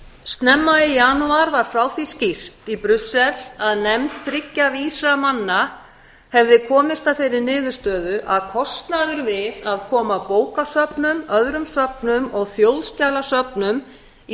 snemma í janúar var frá því skýrt í brussel að nefnd þriggja vísra manna hefði komin að þeirri niðurstöðu að kostnaður við að koma bókasöfnum öðrum söfnum og þjóðskjalasöfnum í